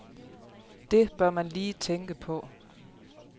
Det bør man lige tænke på.